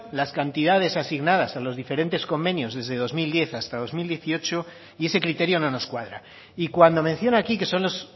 las cantidades asignadas a los diferentes convenios desde dos mil diez hasta dos mil dieciocho y ese criterio no nos cuadra y cuando menciona aquí que son los